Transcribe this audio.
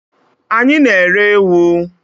Anyị na-ere ewu.